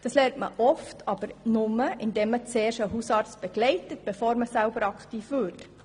Und das lernt man nur, indem man zuerst einen Hausarzt begleitet, bevor man selber aktiv wird.